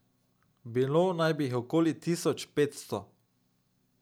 Bilo naj bi jih okoli tisoč petsto.